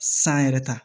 San yɛrɛ ta